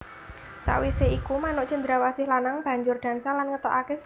Sawisé iku manuk cendrawasih lanang banjur dansa lan ngetokaké swara